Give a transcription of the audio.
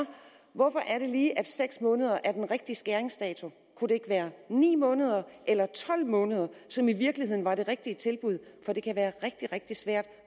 hvorfor er det lige at seks måneder er den rigtige skæringsdato kunne det ikke være ni måneder eller tolv måneder som i virkeligheden var det rigtige tilbud for det kan være rigtig rigtig svært